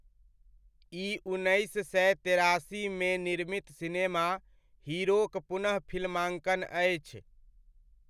ई उन्नैस सए तेरासीमे निर्मित सिनेमा 'हीरो' क पुनःफ़िल्माङ्कन अछि।